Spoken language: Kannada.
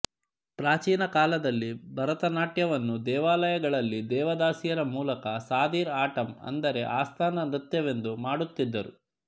ಪ್ರಾಚೀನ ಕಾಲದಲ್ಲಿ ಭರತ ನಾಟ್ಯವನ್ನು ದೇವಾಲಯಗಳಲ್ಲಿ ದೇವದಾಸಿಯರ ಮೂಲಕ ಸಾದಿರ್ ಆಟಂ ಅಂದರೆ ಆಸ್ಥಾನ ನೃತ್ಯವೆಂದು ಮಾಡುತ್ತಿದ್ದರು